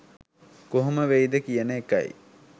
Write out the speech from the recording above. කොහොම වෙයිද කියන එකයි.